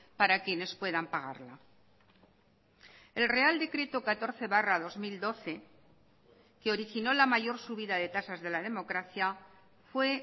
para quienes puedan pagarla el real decreto catorce barra dos mil doce que originó la mayor subida de tasas de la democracia fue